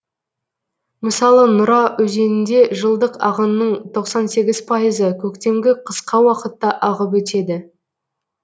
мысалы нұра өзенінде жылдық ағынның тоқсан сегіз пайызы көктемгі қысқа уақытта ағып өтеді